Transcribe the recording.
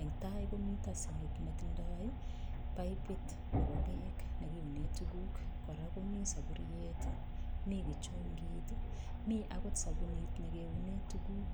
Eng tai komito sinkit netindoi pipit nebo beek nekiune tukuk. Kora komi saburiet, mi kichungit, mi akot sabunit nekeune tukuk.